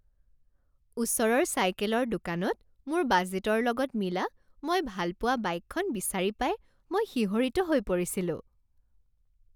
ওচৰৰ চাইকেলৰ দোকানত মোৰ বাজেটৰ লগত মিলা মই ভাল পোৱা বাইকখন বিচাৰি পাই মই শিহৰিত হৈ পৰিছিলোঁ।